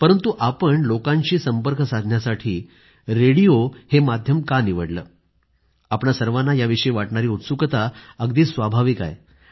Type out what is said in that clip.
परंतु आपण लोकांशी संपर्क साधण्यासाठी रेडिओ हे माध्यम का निवडले आपल्या सर्वांना याविषयी वाटणारी उत्सुकता अगदी स्वाभाविक आहे